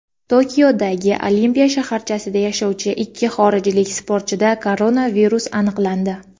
Tokiodagi Olimpiya shaharchasida yashovchi ikki xorijlik sportchida koronavirus aniqlandi.